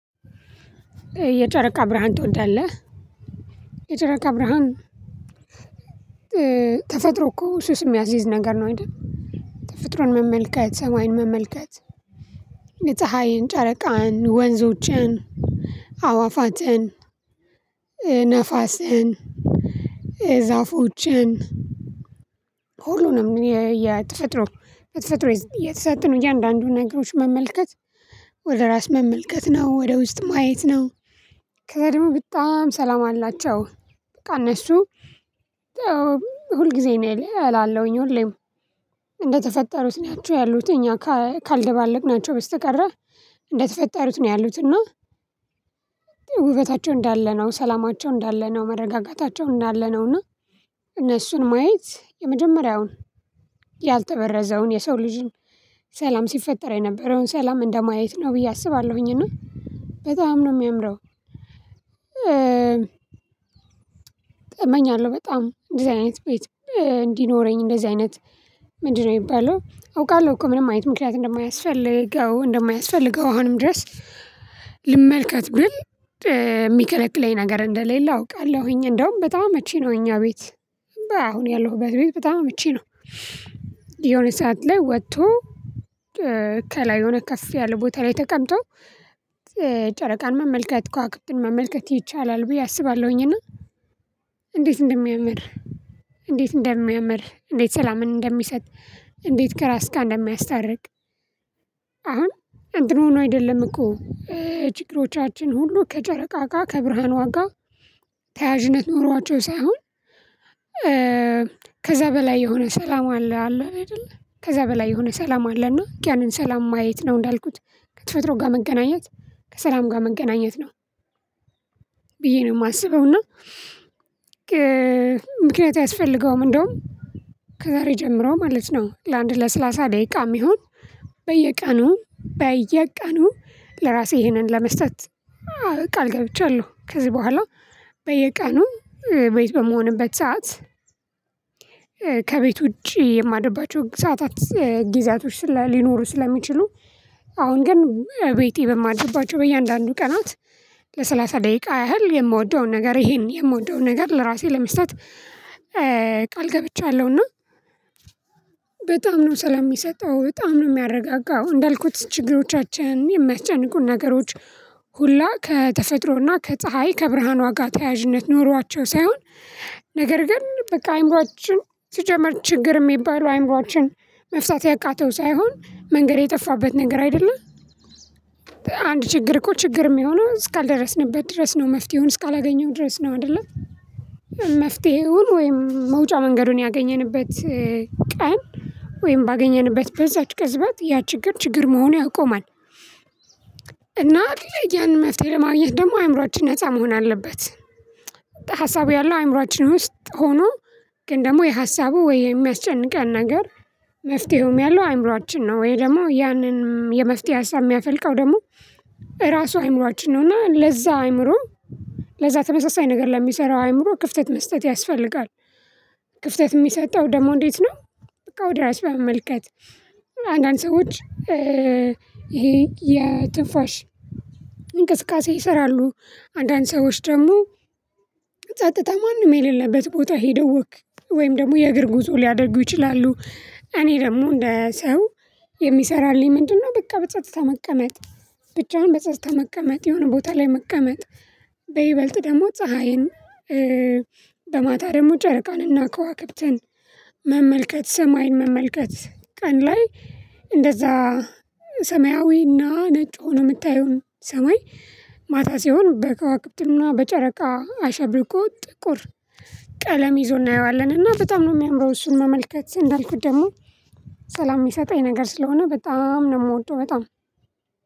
የጨረቃ ብርሃን ትወዳለህ? የጨረቃ ብርሃን ተፈጥሮ እኮ ሱስ ሚያሲዝ ነገር ነው አይደል? ተፈጥሮን መመልከት ሰማይን መመልከት። ጨረቃን ወንዞችን አዋፋትን ነፋስን ዛፎችን ሁሉንም የተፈጥሮ በተፈጥሮ የተሰጡንን እያንዳንዱን ነገሮች መመልከት ወደ ራስ መመልከት ነው ወደ ውስጥ ማየት ነው። ከዛ ደግሞ በጣም ሰላም አላቸው። በቃ እነሱ ሁል ጊዜ እላለሁኝ ሁሌም እንደተፈጠሩት ናቸው ያሉት እኛ ካልደባለቅናቸው በስተቀር። እንደተፈጠሩት ነው ያሉት እና። ውበታቸው እንዳለ ነው ሰላማቸው እንዳለ ነው መረጋጋታቸው እንዳለ ነው። እና እነሱን ማየት የመጀመሪያውን ያልተበረዘውን የሰው ልጅን ሰላም ሲፈጠር የነበረውን ሰላም እንደ ማየት ነው ብዬ አስባለሁኝ። እና በጣም ነው ሚያምረው። እመኛለሁ በጣም እንደዚህ አይነት ቤት እንዲኖረኝ እንደዚህ አይነት ምንድነው? የሚባለው አውቃለሁ እኮ ምንም አይነት ምክንያት እንደማያስፈልገው አሁንም ድረስ ልመልከት ብል የሚከለክለኝ ነገር እንደሌለ አውቃለሁኝ። እንደውም በጣም መቼ ነው እኛ ቤት አሁን ያለሁበት ቤት በጣም ምቹ ነው። የሆነ ሰዓት ላይ ወጥቶ ከላይ የሆነ ከፍ ያለ ቦታ ላይ ተቀምጦ ጨረቃን መመልከት ከዋክብትን መመልከት ይቻላል ብዬ አስባለሁኝ። እና እንዴት እንደሚያምር እንዴት ሰላምን እንደሚሰጥ እንዴት ከራስ ጋር እንደሚያስታርቅ። አሁን እንትን ሆኖ አይደለም እኮ ችግሮቻችን ሁሉ ከጨረቃጋ ከብርሃኗጋ ተያዥነት ኖሯቸው ሳይሆን ከዛ በላይ የሆነ ሰላም አለ አይደል? ከዛ በላይ የሆነ ሰላም አለ እና ልክ ያንን ሰላም ማየት ነው እንዳልኩት ከተፈጥሮ ጋር መገናኘት ከሰላም ጋር መገናኘት ነው። ብዬ ነው የማስበው እና። ምክንያት አያስፈልገውም እንደውም ከዛሬ ጀምሮ ማለት ነው። ለአንድ ለስላሳ ደቂቃ የሚሆን በየቀኑ በየቀኑ ለራሴ ይህንን ለመስጠት ቃል ገብቻለሁ። ከዚህ በኋላ በየቀኑ ቤት በመሆንበት ሰዓት። ከቤት ውጪ የማደርባቸው ሰዓታት ጊዚያቶች ሊኖሩ ስለሚችሉ አሁን ግን ቤቴ በማድረግባቸው በእያንዳንዱ ቀናት ለሰላሳ ደቂቃ ያህል የምወደውን ነገር ይሄን የምወደው ነገር ለራሴ ለመስጠት ቃል ገብቻለሁና። በጣም ነው ሰላም ሚሰጠው በጣም ነው የሚያረጋጋው እንዳልኩት ችግሮቻችን የማያስጨንቁ ነገሮች። ሁላ ከተፈጥሮና ከፀሀይ ከብርሃን ዋጋ ተያያዥነት ኖሯቸው ሳይሆን ነገር ግን በቃ አይምሮአችን ስጀምር ችግር የሚባለው አይምሮአችን መፍታት ያቃተው ሳይሆን መንገድ የጠፋበት ነገር አይደለ። አንድ ችግር እኮ ችግር የሚሆነው እስካልደረስንበት ድረስ ነው መፍትሄውን እስካላገኘው ድረስ ነው አይደለ። መፍትሄውን ወይም መውጫ መንገዱን ያገኘንበት ቀን ወይም ባገኘንበት በዛች ቅዝበት ያ ችግር ችግር መሆን ያቆማል። እና ያን መፍትሄ ለማግኘት ደግሞ አእምሮአችን ነፃ መሆን አለበት። ሀሳቡ ያለው አእምሮአችን ውስጥ ሆኖ። ግን ደግሞ የሀሳቡ ወይ የሚያስጨንቀን ነገር። መፍትሄውም ያለው አይምሮአችን ነው ወይ ደግሞ ያንን የመፍትሄ ሀሳብ የሚያፈልቀው ደግሞ ራሱ አይምሮአችን ነው። እና ለዛ አይምሮ ለዛ ተመሳሳይ ነገር ለሚሰራው አእምሮ ክፍተት መስጠት ያስፈልጋል። ክፍተት ሚሰጠው ደግሞ እንዴት ነው? በቃ ወደ ራስ በመመልከት አንዳንድ ሰዎች ይሄ የትንፋሽ እንቅስቃሴ ይሰራሉ አንዳንድ ሰዎች ደግሞ ጸጥታ ማንም የሌለበት ቦታ ሄደው ወክ ወይም ደግሞ የእግር ጉዞ ሊያደርጉ ይችላሉ። እኔ ደግሞ እንደ ሰው የሚሰራልኝ ምንድነው? በቃ በጸጥታ መቀመጥ ብቻውን በጸጥታ መቀመጥ የሆነ ቦታ ላይ መቀመጥ። በይበልጥ ደግሞ ፀሀይን በማታ ደግሞ ጨረቃንና ከዋክብትን መመልከት ሰማይን መመልከት ቀን ላይ እንደዛ ሰማያዊና ነጭ ሆኖ የምታየውን ሰማይ ማታ ሲሆን በከዋክብትና በጨረቃ አሸብርቆ ጥቁር ቀለም ይዞ እናየዋለንና እና በጣም ነው የሚያምረው። እሱን መመልከት እንዳልኩት ደግሞ ሰላም ሚሰጠኝ ነገር ስለሆነ በጣም ነው ምወደው በጣም